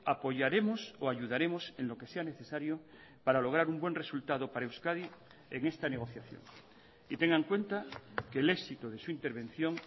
apoyaremos o ayudaremos en lo que sea necesario para lograr un buen resultado para euskadi en esta negociación y tenga en cuenta que el éxito de su intervención